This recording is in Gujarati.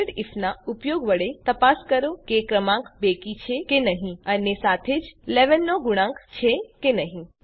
nested આઇએફ નાં ઉપયોગ વડે તપાસ કરો કે ક્રમાંક બેકી છે કે નહી અને સાથે જ ૧૧ નો ગુણાંક છે કે નહી